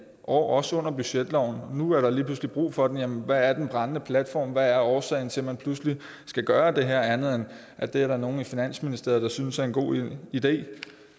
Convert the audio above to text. også under budgetloven nu er der lige pludselig brug for det jamen hvad er den brændende platform hvad er årsagen til at man pludselig skal gøre det her andet end at det er der nogle i finansministeriet der synes er en god idé